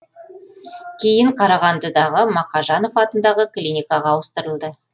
кейін қарағандыдағы мақажанов атындағы клиникаға ауыстырылды